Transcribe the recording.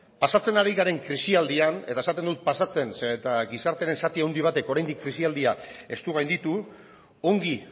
pasatzen ari garen krisialdian eta esaten dut pasatzen zeren eta gizartearen zati handi batek oraindik krisialdia ez du gainditu ongi